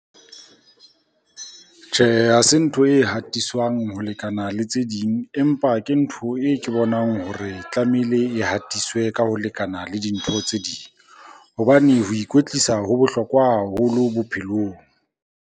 Tjhe, ha se ntho e hatiswang ho lekana le tse ding, empa ke ntho e ke bonang hore tlamehile e hatiswe ka ho lekana le dintho tse ding, hobane ho ikwetlisa ho bohlokwa haholo bophelong.